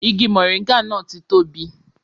Igi mọ̀ríngà náà ti tóbi